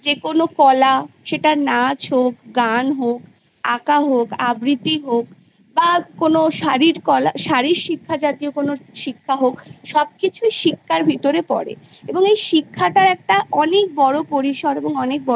যেকোনো কলা সেটা নাচ হোক গান হোক আঁকা হোক আবৃতি হোক বা কোনো শারীরকলা শারীরশিক্ষা জাতীয় কোনো শিক্ষা হোক সবকিছুই শিক্ষার ভিতরে পরে এবং এই ইখতার একটা অনেক বড়ো পরিসর এবং অনেক বড়ো